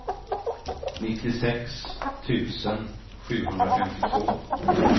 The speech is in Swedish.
nittiosex tusen sjuhundrafemtiotvå